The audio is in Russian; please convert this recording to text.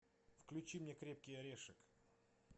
включи мне крепкий орешек